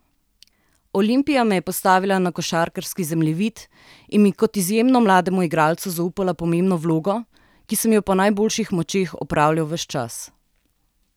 Olimpija me je postavila na košarkarski zemljevid in mi kot izjemno mlademu igralcu zaupala pomembno vlogo, ki sem jo po najboljših močeh opravljal ves čas.